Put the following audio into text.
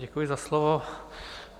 Děkuji za slovo.